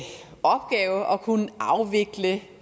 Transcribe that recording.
kunne afvikle